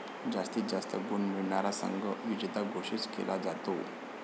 जास्तीत जास्त गुण मिळवणारा संघ विजेता घोषित केला जातो.